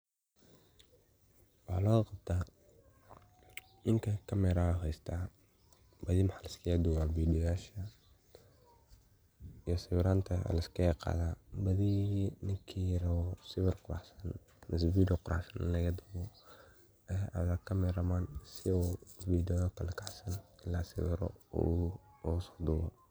Waxa lagu qabta, ninka camera ayuu haystaa. Badi maxa la iskigidubaa videoyasha iyo sawiranta la iskigiqaada. Badi ninkii rabo sawir quruxsan mise video quruxsan in lagadubo ayaa aada cameraman si uu video kala kacsan loo sawiro oo uskudubo.